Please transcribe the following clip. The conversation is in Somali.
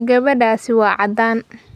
Gabadhaasi waa caddaan.